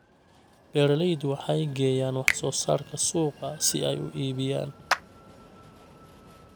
Beeraleydu waxay geeyaan wax soo saarka suuqa si ay u iibiyaan.